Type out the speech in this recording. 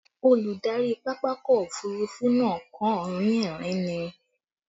Olùdarí pápákọ̀ òfurufú náà kàn ń rín ẹ̀rín ni